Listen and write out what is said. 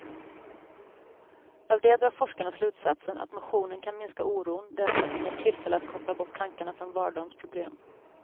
Av det drar forskarna slutsatsen att motionen kan minska oron därför att den ger tillfälle att koppla bort tankarna från vardagens problem.